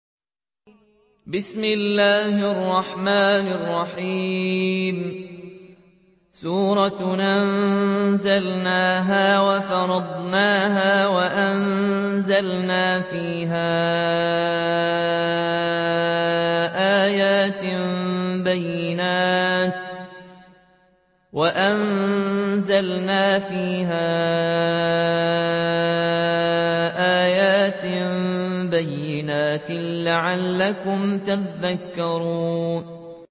سُورَةٌ أَنزَلْنَاهَا وَفَرَضْنَاهَا وَأَنزَلْنَا فِيهَا آيَاتٍ بَيِّنَاتٍ لَّعَلَّكُمْ تَذَكَّرُونَ